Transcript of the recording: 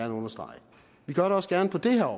understrege vi gør det også gerne på det her